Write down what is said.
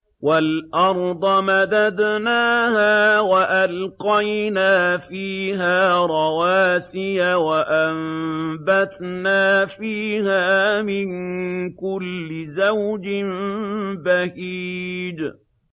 وَالْأَرْضَ مَدَدْنَاهَا وَأَلْقَيْنَا فِيهَا رَوَاسِيَ وَأَنبَتْنَا فِيهَا مِن كُلِّ زَوْجٍ بَهِيجٍ